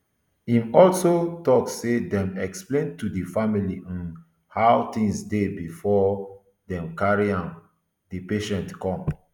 im also tok say dem explain to di family um how tins dey bifor dem carry um di patient come